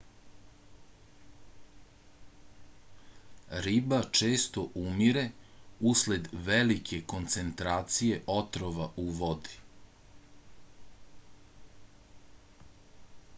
riba često umire usled velike koncentracije otrova u vodi